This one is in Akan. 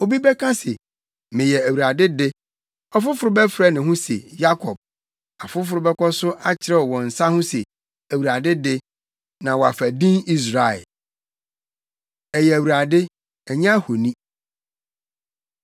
Obi bɛka se, ‘Meyɛ Awurade de’; ɔfoforo bɛfrɛ ne ho se Yakob; afoforo bɛkɔ so akyerɛw wɔn nsa ho se, ‘ Awurade de,’ na wɔafa din Israel. Ɛyɛ Awurade, Ɛnyɛ Ahoni